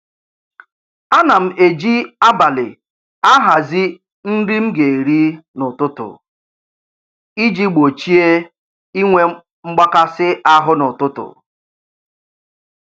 Ana m eji abalị ahazi nri m ga-eri n'ụtụtụ iji gbochie inwe mgbakasị ahụ n'ụtụtụ